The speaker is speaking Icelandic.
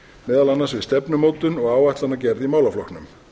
meðal annars við stefnumótun og áætlanagerð í málaflokknum